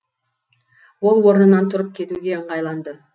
ол орнынан тұрып кетуге ыңғайланды